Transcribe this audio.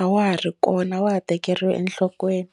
a wa ha ri kona a wa ha tekeriwi enhlokweni.